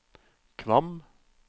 Kvam